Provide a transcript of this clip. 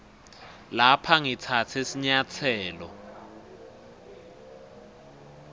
lapha ngitsatse sinyatselo